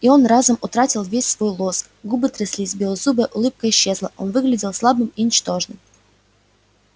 и он разом утратил весь свой лоск губы тряслись белозубая улыбка исчезла он выглядел слабым и ничтожным